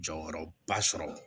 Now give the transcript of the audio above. Jɔyɔrɔba sɔrɔ